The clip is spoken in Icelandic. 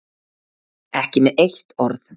Ekki með eitt orð.